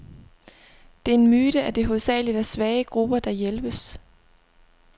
Det er en myte, at det hovedsageligt er svage grupper, der hjælpes.